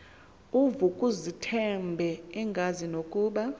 uvukuzumbethe engazi nokuba